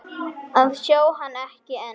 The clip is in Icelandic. að sjá hann, ekki enn.